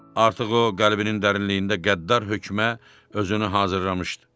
Artıq o qəlbinin dərinliyində qəddar hökmə özünü hazırlamışdı.